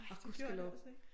Åh Gudskelov